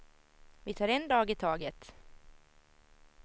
Vi tar en dag i taget.